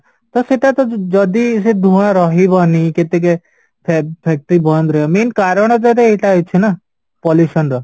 ତ ସେଟାତ ଯଦି ସେ ଧୂଆଁ ରହିବନି କେତେ factory ବନ୍ଦ ରହିବ mean କାରଣଟା ତ ଏଇଟା ହୋଉଛି ନା pollution ର